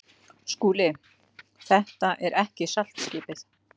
SKÚLI: Þetta er ekki saltskipið.